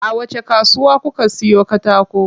A wacce kasuwa kuka siyo katako?